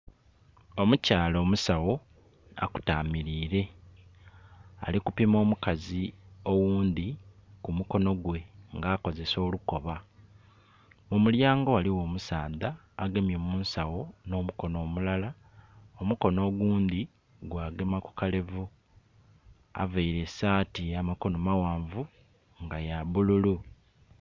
Omukyala omusagho akutamirile alikupima omukazi oghundi ku mukonogwe nga akozesa olukoba. Mulyango ghaligho omusadha agemye mu nsagho no mukono mulala omukono ogundhi gwa gema kukalevu, aveire esati yamakono maghanvu nga ya bululu.